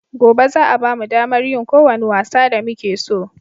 Gobe za a bamu damar yin ko wani wasa da muke so